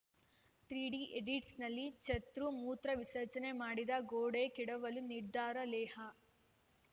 three D ಈಡಿಯಟ್ಸ್‌ನಲ್ಲಿ ಚತುರ್‌ ಮೂತ್ರ ವಿಸರ್ಜನೆ ಮಾಡಿದ್ದ ಗೋಡೆ ಕೆಡವಲು ನಿರ್ಧಾರ ಲೇಹ್‌